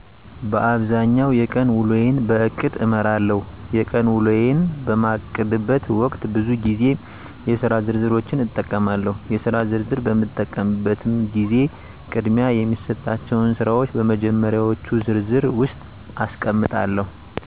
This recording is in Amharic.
በአብዛኛው የቀን ውሎየን በእቅድ እመራለሁ። የቀን ውሎየን በማቅድበት ወቅት ብዙ ግዜ የስራ ዝርዝሮችን እጠቀማለሁ። የስራ ዝርዝር በምጠቀምበትም ግዜ ቅድሚያ የሚሰጣቸውን ስራወች በመጀመሪዎቹ ዝርዝር ውስጥ አስቀምጣለሁ።